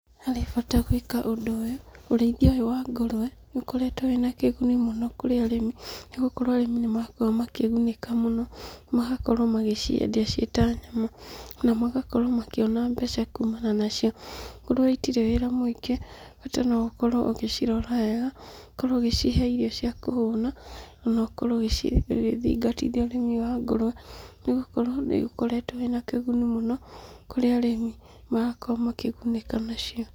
Harĩbata gwĩka ũndũ ũyũ, ũrĩithia ũyũ wa ngũrũe, nĩũkoretwo wĩna kĩguni mũno Kũrĩ arĩmi, nĩgũkorwo arĩmi nĩmarakorwo makĩgunĩka mũno, magakorwo magĩciendia ciĩta nyama, na magakorwo makĩona mbeca kumana nacio. Ngũrũe itirĩ wĩra mũingĩ, bata noũkorwo ũgĩcirora wega, ũkorwo ũgĩcihe irio ciakũhũna, na ũkorwo ũgĩthingatithia ũrĩmi ũyũ wa ngũrũe, nĩgũkorwo nĩũkoretwo wĩnakĩguni mũno, kũrĩ arĩmi, magakorwo makĩgunĩka nacio.